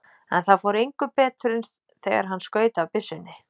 En það fór engu betur en þegar hann skaut af byssunni.